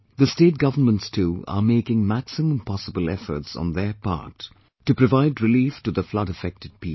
The state governments too are making maximum possible efforts on their part to provide relief to the flood affected people